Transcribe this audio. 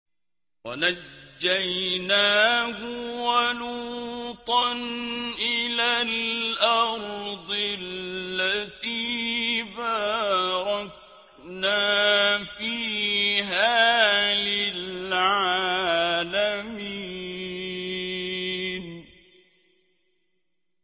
وَنَجَّيْنَاهُ وَلُوطًا إِلَى الْأَرْضِ الَّتِي بَارَكْنَا فِيهَا لِلْعَالَمِينَ